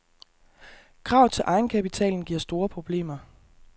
Krav til egenkapitalen giver store problemer.